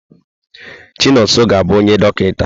Chinonso ga-abụ onye dọkịta.